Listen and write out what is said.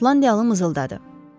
Şotlandiyalı mızıldadı.